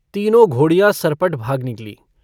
तीनों घोड़ियाँ सरपट भाग निकलीं।